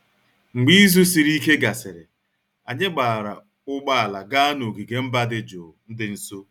Mgbe izu siri ike gasịrị, anyị gbaara ụgbọ ala gaa n'ogige mba dị jụụ dị nso